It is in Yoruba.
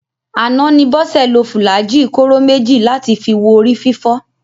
Àná ni Bọ́sẹ̀ lo fùlàájì kóró méjì láti fi wo orí fífọ́